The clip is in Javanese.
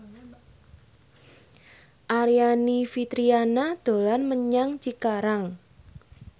Aryani Fitriana dolan menyang Cikarang